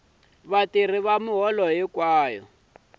vatirhi ya miholo hinkwayo ya